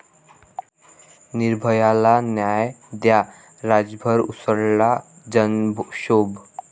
निर्भया'ला न्याय द्या, राज्यभर उसळला जनक्षोभ